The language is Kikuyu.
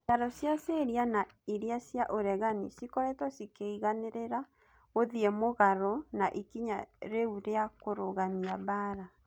Mbiraru cia Syria na iria cia uregani cikoretwo cikeiganirira guthie mugaro na ikinya riu ria kurugamia mbara.